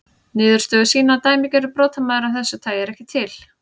Niðurstöður sýna að dæmigerður brotamaður af þessu tagi er ekki til.